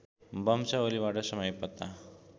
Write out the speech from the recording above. वंशावलीबाट समय पत्ता